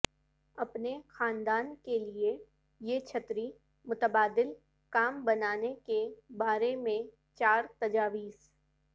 اپنے خاندان کے لئے یہ چھتری متبادل کام بنانے کے بارے میں چار تجاویز